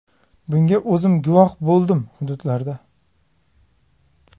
Bunga o‘zim guvoh bo‘ldim hududlarda.